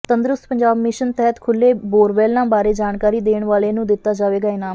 ਤੰਦਰੁਸਤ ਪੰਜਾਬ ਮਿਸ਼ਨ ਤਹਿਤ ਖੁੱਲ੍ਹੇ ਬੋਰਵੈੱਲਾਂ ਬਾਰੇ ਜਾਣਕਾਰੀ ਦੇਣ ਵਾਲੇ ਨੂੰ ਦਿੱਤਾ ਜਾਵੇਗਾ ਇਨਾਮ